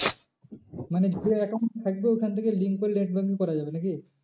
মানে যে account থাকবে ওইখান থেকে link করে net banking করা যাবে নাকি?